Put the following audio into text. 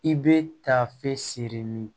I bɛ taa fɛn sere min ye